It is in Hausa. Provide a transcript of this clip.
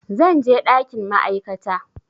Zan je ɗakin ma'aikata